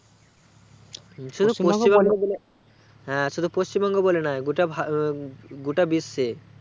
হ্যাঁ শুধু পশ্চিমবঙ্গ বলে নোই গোটা ভারগোটা বিশ্বে